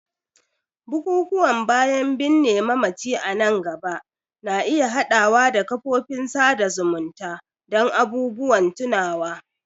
bukukuwan bayan binne mamaci a nan gaba na iya haɗawa da kafofin sada zumunta don abubuwan tunawa.